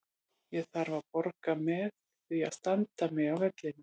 Ég þarf að borga með því að standa mig á vellinum.